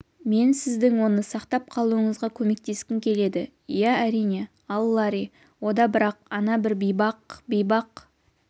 мен сіздің оны сақтап қалуыңызға көмектескім келеді иә әрине ал ларри ода бірақ ана бір бейбақ бейбақ